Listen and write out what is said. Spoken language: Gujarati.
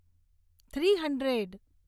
three hundred